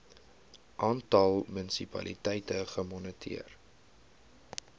aantal munisipaliteite gemoniteer